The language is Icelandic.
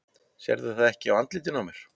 Sérðu það ekki á andlitinu á mér?